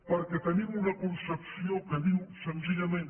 perquè tenim una concepció que diu senzillament